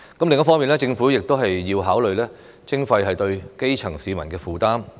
另一方面，政府亦要考慮徵費對基層市民的負擔。